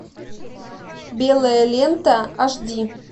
белая лента аш ди